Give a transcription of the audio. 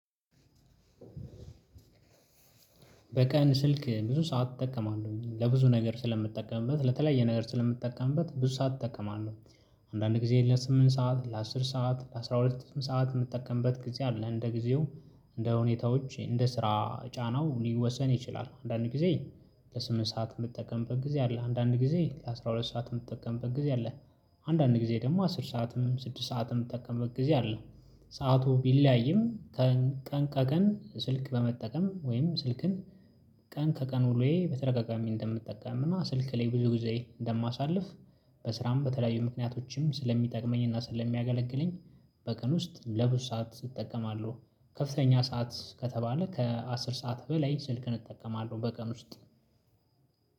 በቀን ስልክ ብዙ ሰዓት እጠቀማለሁኝ ለብዙ ነገር ስለምጠቀምበት ለተለያየ ነገር ስለምትጠቀምበት ብዙ ሰዓት እጠቀማለሁ አንዳንድ ጊዜ ለስምንት ሰዓት ለአስር ሰዓት ለአስራ ሁለት ሰዓት የምጠቀምበት ጊዜ አለ። እንደ ጊዜው እንደ ሁኔታዎች እንደ ስራ ጫናው ሊወሰን ይችላል። አንዳንድ ጊዜ ለስምንት ሰዓት የምጠቀምበት ጊዜ አለ። አንዳንድ ጊዜ ለአሥራ ሁለት ሰዓት የምትጠቀምበት ጊዜ አለ። አንዳንድ ጊዜ ደግሞ አስር ሰዓትም ስድስት ሰዓትም የምትጠቀምበት ጊዜ አለ። ሰዓቱ ቢለያይም ቀን ከቀን ስልክ በመጠቀም ወይም ስልክን ቀን ከቀን ውሎየ በተደጋጋሚ እንደምጠቃም እና ስልክ ላይ ብዙ ጊዜ እንደማሳልፍ በስራም በተለያዩ ምክንያቶችም ስለሚጠቅመኝና ስለሚያገለግለኝ በቀን ውስጥ ለብዙ ሰዓት እጠቀማለሁ። ከፍተኛ ሰዓት ከተባለ ከአስር ሰዓት በላይ ስልክን እጠቀማለሁ በቀን ውስጥ